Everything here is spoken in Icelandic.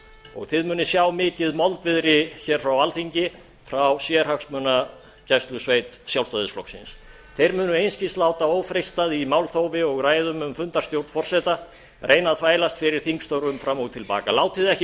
og þið munuð sjá mikið moldviðri hér frá alþingi frá sérhagsmunagæslusveit sjálfstæðisflokksins þeir munu einskis láta ófreistað í málþófi og ræðum um fundarstjórn forseta reyna að þvælast fyrir þingstörfum fram og til baka látið ekki